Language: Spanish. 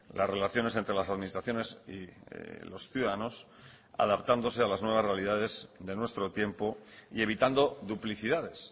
las relaciones entre las administraciones y los ciudadanos adaptándose a las nuevas realidades de nuestro tiempo y evitando duplicidades